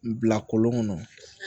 Bila kolon kɔnɔ